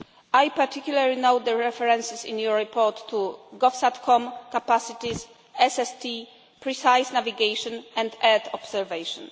I particularly note the references in your report to GovSatCom capacities, SST, precise navigation and earth observation.